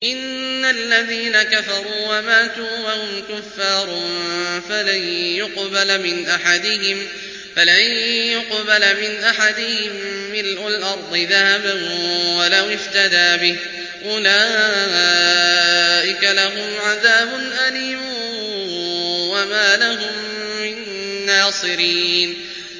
إِنَّ الَّذِينَ كَفَرُوا وَمَاتُوا وَهُمْ كُفَّارٌ فَلَن يُقْبَلَ مِنْ أَحَدِهِم مِّلْءُ الْأَرْضِ ذَهَبًا وَلَوِ افْتَدَىٰ بِهِ ۗ أُولَٰئِكَ لَهُمْ عَذَابٌ أَلِيمٌ وَمَا لَهُم مِّن نَّاصِرِينَ